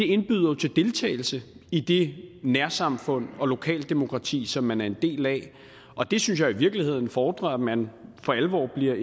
indbyder jo til deltagelse i det nærsamfund og lokaldemokrati som man er en del af og det synes jeg i virkeligheden fordrer at man for alvor bliver